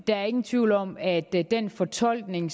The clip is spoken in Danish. der er ingen tvivl om at den fortolkning